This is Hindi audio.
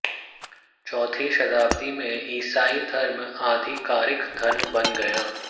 चौथी शताब्दी में ईसाई धर्म आधिकारिक धर्म बन गया